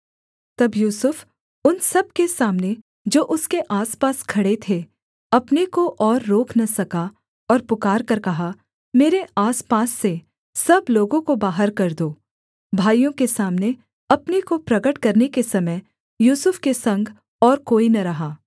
तब यूसुफ उन सब के सामने जो उसके आसपास खड़े थे अपने को और रोक न सका और पुकारकर कहा मेरे आसपास से सब लोगों को बाहर कर दो भाइयों के सामने अपने को प्रगट करने के समय यूसुफ के संग और कोई न रहा